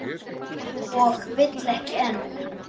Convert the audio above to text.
Og vill ekki enn.